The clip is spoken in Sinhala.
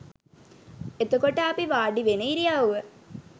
එතකොට අපි වාඩිවෙන ඉරියව්ව